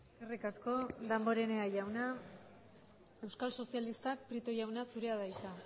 eskerrik asko damborenea jauna euskal sozialistak prieto jauna zurea da hitza